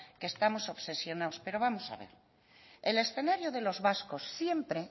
que estamos obsesionados pero vamos a ver el escenario de los vascos siempre